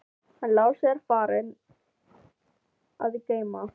Hann Lási er farinn að geyma.